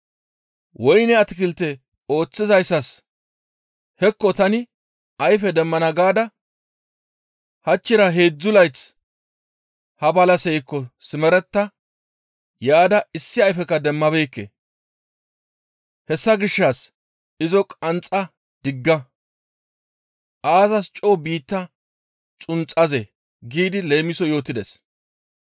Woyne atakilte ooththizayssas, ‹Hekko tani ayfe demmana gaada hachchira heedzdzu layth ha balaseykko simeretta yaada issi ayfekka demmabeekke; hessa gishshas izo qanxxa digga! Aazas coo biittaa xunxazee?› giidi leemiso yootides.